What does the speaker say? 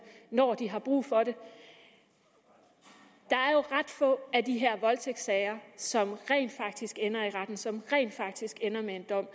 når de har brug for det der er jo ret få af de her voldtægtssager som rent faktisk ender i retten som rent faktisk ender med en dom